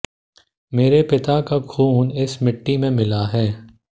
मेरे पिता का खून इस मिट्टी में मिला है